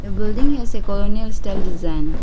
building has a colonial style design.